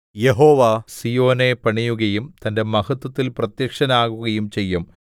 യഹോവ സീയോനെ പണിയുകയും തന്റെ മഹത്വത്തിൽ പ്രത്യക്ഷനാകുകയും ചെയ്യും